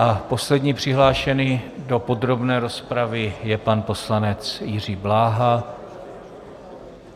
A poslední přihlášený do podrobné rozpravy je pan poslanec Jiří Bláha.